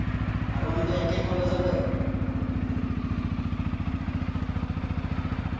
একে college ৰে । college ৰ পৰাইতো তোমাৰ লগত চিনা-জনা হ'ল।